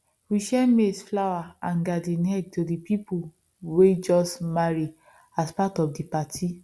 we share maize flour and garden eggs to the people way just marry as part of the party